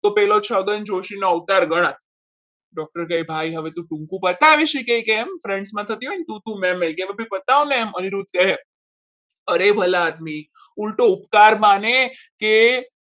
તો પેલો છગન જોશી નો અવતાર ગણાત doctor કહે ભાઈ હવે તું ટૂંકું બતાવીશ કે કેમ થતી હોય ને તું તું મેં કે અભી બતાવને અનિરુદ્ધ કહે અરેબલા આદમી ઊલટો ઉપકાર માને કે